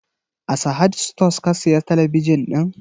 A Sahad stores ka siya talabijin ɗin?